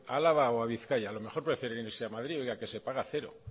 a álava o a bizkaia a lo mejor prefieren irse a madrid ya que se paga cero